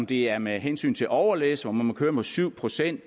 det er med hensyn til overlæs hvor man må køre med syv procent